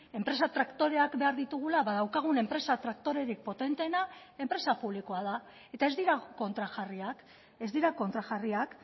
enpresa traktoreak behar ditugula ba daukagun enpresa traktorerik potenteena enpresa publikoa da eta ez dira kontrajarriak ez dira kontrajarriak